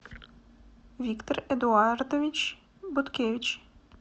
виктор эдуардович будкевич